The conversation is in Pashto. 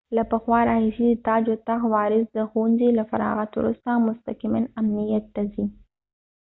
له پخوا راهیسې د تاج و تخت وارث د ښوونځي له فراغت وروسته مستقماً امنیت ته ځي